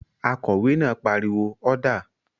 Akòwé náà pariwo "ọ́dà!"